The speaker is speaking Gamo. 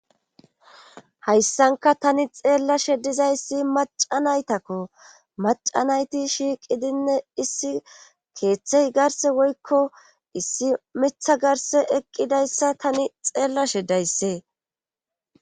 hayssanka tani xeellashe dizayssi macanaytakko macanayti shiiqidinne issi keeththey garse woykko issi mitha garse eqqidayssa tani xeellashe dayssee